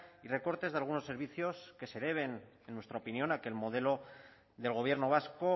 y recortes de algunos servicios que se deben en nuestra opinión a que el modelo del gobierno vasco